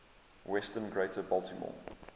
western greater baltimore